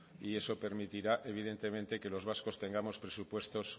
y eso permitirá evidentemente que los vascos tengamos presupuestos